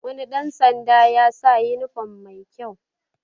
Wani ɗan sanda ya sa yunifom mai kyau